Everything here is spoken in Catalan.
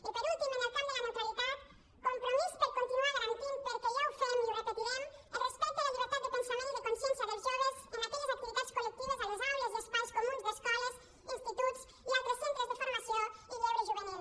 i per últim en el camp de la neutralitat compromís per continuar garantint perquè ja ho fem i ho repetirem el respecte a la llibertat de pensament i de consciència dels joves en aquelles activitats col·lectives a les aules i espais comuns d’escoles instituts i altres centres de formació i lleure juvenil